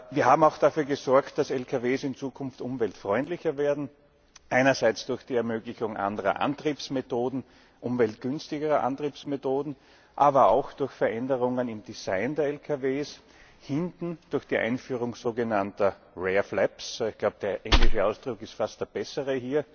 Wir haben auch dafür gesorgt, dass Lkws in Zukunft umweltfreundlicher werden, einerseits durch die Ermöglichung anderer Antriebsmethoden, umweltgünstigerer Antriebsmethoden, andererseits aber auch durch Veränderungen im Design der Lkws, hinten durch die Einführung sogenannter rear flaps ich glaube, der englische Ausdruck ist hier fast der bessere